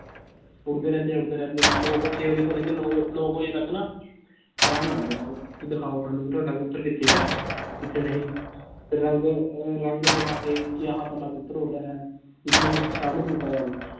ਉੱਡਦੇ ਰਹਿੰਦੇ ਆ ਉੱਡਦੇ ਰਹਿੰਦੇ ਆ, ਲੋਕ ਛੇ ਵਜੇ ਤੋਂ ਲੈ ਕੇ ਨੋਂ ਨੋਂ ਕੁ ਵਜੇ ਤੱਕ ਨਾ time ਲਾਉਂਦੇ ਆ ਉਹ ਕਿ ਦਿਖਾਓ ਸਾਨੂੰ ਤੁਹਾਡਾ ਕਬੂਤਰ ਕਿੱਥੇ ਹੈ ਕਿੱਥੇ ਨਹੀਂ ਫਿਰ ਰੰਗ ਅਹ ਰੰਗ ਦਿਖਾ ਕੇ ਕਿ ਆਹ ਸਾਡਾ ਕਬੂਤਰ ਉੱਡ ਰਿਹਾ ਹੈ, ਇਸਨੂੰ ਸ਼ਾਮਿਲ ਕੀਤਾ ਜਾਵੇ